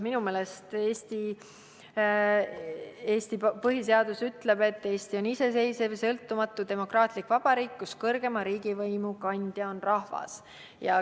Minu teada ütleb Eesti põhiseadus, et Eesti on iseseisev ja sõltumatu demokraatlik vabariik, kus kõrgeima riigivõimu kandja on rahvas.